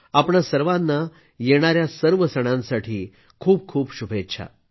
आपणा सर्वांना येणाऱ्या सर्व सणांसाठी खूप खूप शुभेच्छा